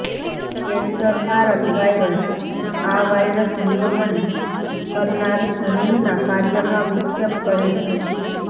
cancer કારક virus આ virus નિયમન કરનાર જનીનના કાર્યમાં વિક્ષેપ કરે છે